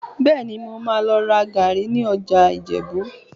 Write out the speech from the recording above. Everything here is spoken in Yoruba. Bẹ́ẹ̀ni, mo máa lọ ra gàárì ní ọjà Ìjẹ̀bú